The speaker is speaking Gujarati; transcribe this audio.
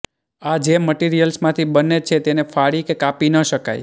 આ જે મટીરીયલ્સમાંથી બને છે તેને ફાડી કે કાપી ન શકાય